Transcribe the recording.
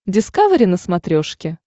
дискавери на смотрешке